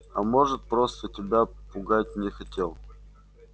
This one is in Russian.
а может просто тебя пугать не хотел